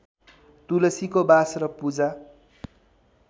तुलसीको बास र पूजा